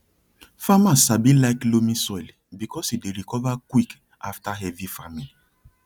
farmers sabi like loamy soil because e dey recover quick after heavy farming